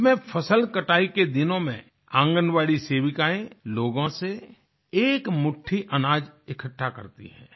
इसमें फसल कटाई के दिनों में आंगनवाड़ी सेविकाएँ लोगों से एक मुट्ठी अनाज इकठ्ठा करती हैं